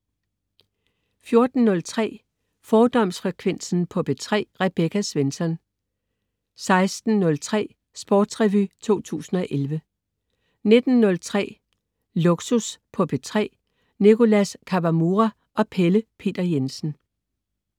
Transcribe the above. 14.03 Fordomsfrekvensen på P3. Rebecca Svensson 16.03 Sportsrevy 2011 19.03 Lågsus på P3. Nicholas Kawamura og Pelle Peter Jensen